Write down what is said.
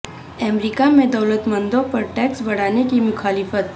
امریکہ میں دولت مندوں پر ٹیکس بڑھانے کی مخالفت